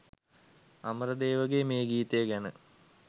අමරදේවගේ මේ ගීතය ගැන